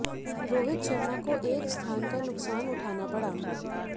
रोहित शर्मा को एक स्थान का नुकसान उठाना पड़ा है